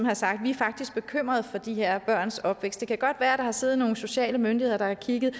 har sagt vi er faktisk bekymrede for de her børns opvækst det kan godt være at der har siddet nogle sociale myndigheder der har kigget